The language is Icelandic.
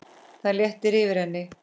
Það léttir yfir henni.